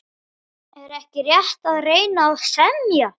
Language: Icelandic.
Er ekki rétt að reyna að semja?